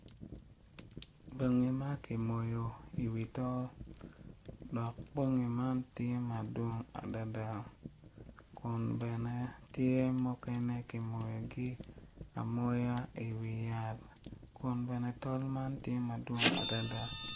Bongi makimoyo i wi tol dok bongi man tye madwong adada kun bene tye mukene kimoyo gi amoya i wi yat kun bene tol man tye madwong adada.